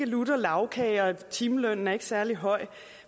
lutter lagkage og timelønnen er ikke særlig høj